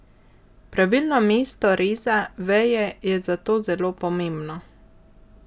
Pravilno mesto reza veje je zato zelo pomembno!